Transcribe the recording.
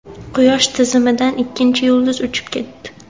Quyosh tizimidan ikkinchi yulduz uchib ketdi.